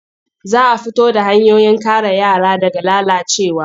Za a fito da hanyoyin kare yara daga lalacewa.